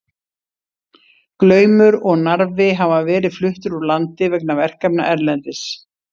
Glaumur og Narfi hafa verið fluttir úr landi vegna verkefna erlendis.